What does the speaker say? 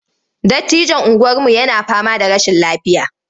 Dattijon unguwarmu yana fama da rashin lafiya.